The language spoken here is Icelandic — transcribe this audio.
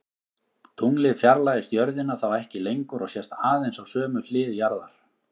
Tunglið fjarlægist jörðina þá ekki lengur og sést aðeins á sömu hlið jarðar.